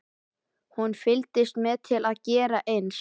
Hún fylgdist með til að gera eins.